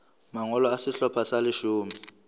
mangolo a sehlopha sa leshome